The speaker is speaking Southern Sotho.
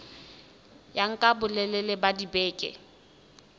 ya nka bolelele ba dibeke